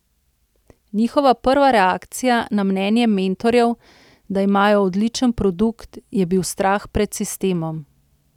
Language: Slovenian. Njihova prva reakcija na mnenje mentorjev, da imajo odličen produkt, je bil strah pred sistemom.